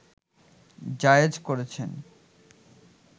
জায়েজ করেছেন